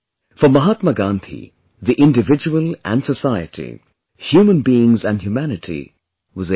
For Mahatma Gandhi, the individual and society, human beings & humanity was everything